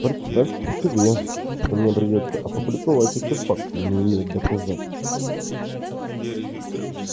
представьте себе что мне придётся опубликовать эти факты не имея доказательств